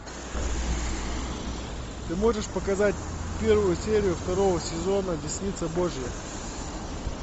ты можешь показать первую серию второго сезона десница божья